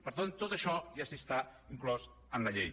per tant tot això ja està inclòs en la llei